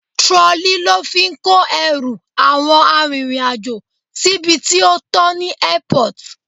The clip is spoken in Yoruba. Trolley lo fi ń kó ẹrù àwọn arìnrìn-àjò síbi tí ó tọ ní Airport.